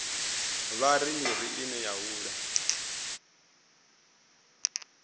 ṱavha miri ine ya hula